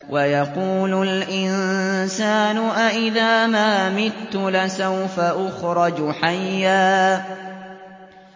وَيَقُولُ الْإِنسَانُ أَإِذَا مَا مِتُّ لَسَوْفَ أُخْرَجُ حَيًّا